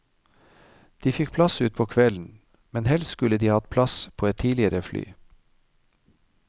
De fikk plass utpå kvelden, men helst skulle de hatt plass på et tidligere fly.